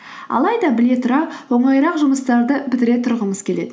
алайда біле тұра оңайырақ жұмыстарды бітіре тұрғымыз келеді